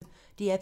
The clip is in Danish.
DR P1